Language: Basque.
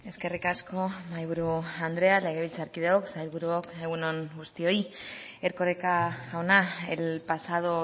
eskerrik asko mahaiburu andrea legebiltzarkideok sailburuok egun on guztioi erkoreka jauna el pasado